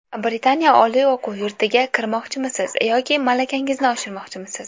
Britaniya oliy o‘quv yurtiga kirmoqchimisiz yoki malakangizni oshirmoqchimisiz?